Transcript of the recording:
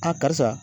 karisa